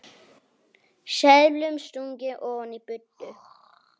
Seðlum stungið ofan í buddu.